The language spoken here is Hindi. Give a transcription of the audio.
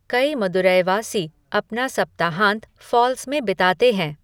कई मदुरैवासी अपना सप्ताहांत फॉल्स में बिताते हैं।